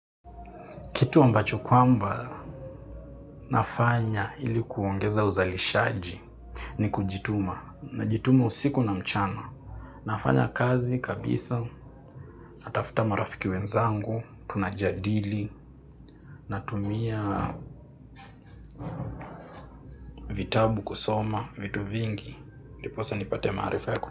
Kitu ambacho kwamba. Nafanya ilikuongeza uzalishaji ni kujituma. Najituma usiku na mchana. Nafanya kazi kabisa. Natafuta marafiki wenzangu. Tunajadili na tumia. Vitabu kusoma, vitu vingi. Ndiposa nipate.